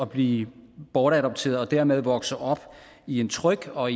blive bortadopteret og dermed vokse op i en tryg og